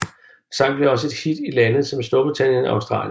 Sangen blev også et hit i lande som Storbritannien og Australien